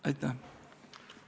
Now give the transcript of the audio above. Aitäh!